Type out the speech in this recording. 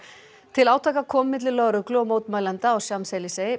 til átaka kom milli lögreglu og mótmælenda